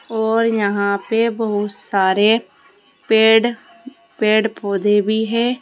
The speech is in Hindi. और यहां पे बहुत सारे पेड़ पेड़ पौधे भी है।